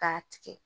K'a tigɛ